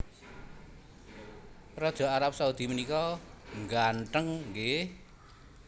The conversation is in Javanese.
Raja Arab Saudi menika ngganteng nggih